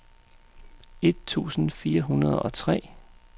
et tusind fire hundrede og tre